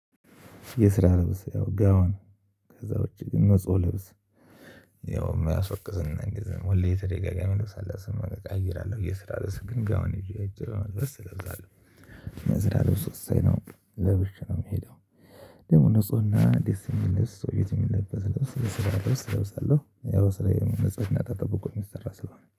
የስራ ልብስ ያው ጋውን ከዛ ውጪ ንጹህ ልብስ የማያስወቅስና እንግዲህ ወልዴ ተደጋጋሚ ልብስ አለብስም አቀያይራለው። የስራ ልብስ ግን ጋውን ይዤ እጅግ በመልበስ እለብሳለሁ የስራ ልብስ ውሳኝ ነው ለብሼ ነው የሚሄደው። ደግሞ ንፁህና ደስ የሚል ሰው የት የሚልበት የስራ ለብስ እለብሳለሁ ያው ስራዬም ንፁህና ተጠብቆ የሚሰራ ስለሆነ።